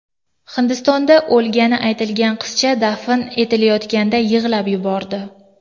Hindistonda o‘lgani aytilgan qizcha dafn etilayotganida yig‘lab yubordi.